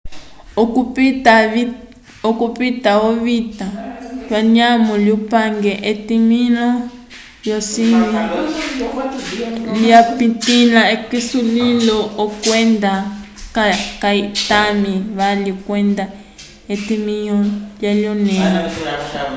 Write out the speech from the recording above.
okupita ovita k'anyamo lyupange etimĩho lyocinyi lyapitĩla k'esulilo kwenda kayitami vali kwenda etimĩho lyanyõlẽha